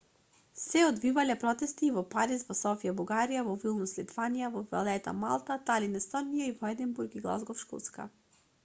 се одвивале протести и во париз во софија бугарија во вилнус литванија во валета малта талин естонија и во единбург и глазгов шкотска